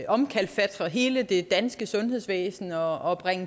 omkalfatre hele det danske sundhedsvæsen og